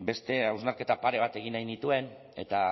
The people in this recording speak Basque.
beste hausnarketa pare bat egin nahi nituen eta